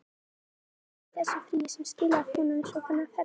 Hvað gerðist eiginlega í þessu fríi sem skilaði honum svona ferskum?